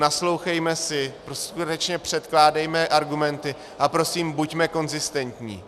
Naslouchejme si, skutečně předkládejme argumenty a prosím, buďme konzistentní.